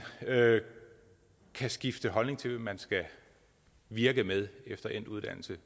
kan skifte holdning til hvad man skal virke med efter endt uddannelse